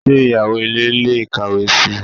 Ṣé ìyàwó ilé lè kàwé si?